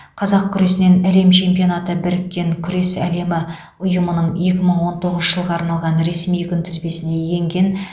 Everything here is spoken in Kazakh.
қазақ күресінен әлем чемпионаты біріккен күрес әлемі ұйымының екі мың он тоғызыншы жылға арналған ресми күнтізбесіне енген